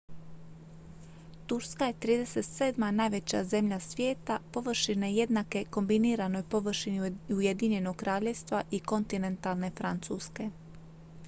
turska je 37. najveća zemlja svijeta površine jednake kombiniranoj površini ujedinjenog kraljevstva i kontinentalne francuske